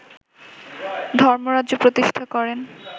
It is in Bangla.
ধর্মরাজ্য প্রতিষ্ঠা করেন